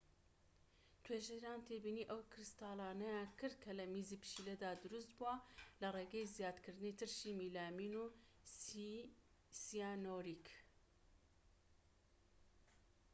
توێژەران تێبینی ئەو کریستاڵانەیان کرد کە لە میزی پشیلەدا دروست بووە لە ڕێگەی زیادکردنی ترشی میلامین و سیانووریک